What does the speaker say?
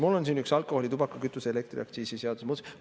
Mul on siin üks alkoholi-, tubaka-, kütuse- ja elektriaktsiisi seaduse muudatus.